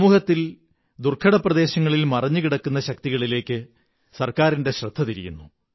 സമൂഹത്തിൽ ദുര്ഗ്ഗ്മപ്രദേശങ്ങളിൽ മറഞ്ഞു കിടക്കുന്ന ശക്തികളിലേക്കു ഗവണ്മെതന്റിന്റെ ശ്രദ്ധ തിരിയുന്നു